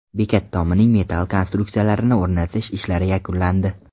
Bekat tomining metall konstruksiyalarini o‘rnatish ishlari yakunlandi.